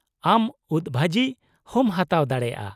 ᱟᱢ ᱩᱫᱽ ᱵᱷᱟᱹᱡᱤ ᱦᱚᱸᱢ ᱦᱟᱛᱟᱣ ᱫᱟᱲᱮᱭᱟᱜᱼᱟ ᱾